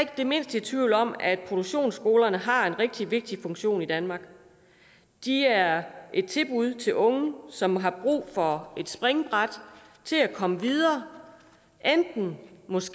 det mindste i tvivl om at produktionsskolerne har en rigtig vigtig funktion i danmark de er et tilbud til unge som har brug for et springbræt til at komme videre enten